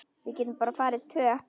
Við getum bara farið tvö.